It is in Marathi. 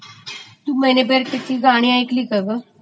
मैने प्यार कीया ची गाणी ऐकलिस का ग?